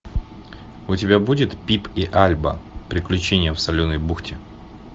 у тебя будет пип и альба приключения в соленой бухте